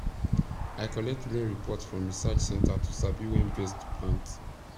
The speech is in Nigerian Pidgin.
i collect rain report from research centre to sabi when best to plant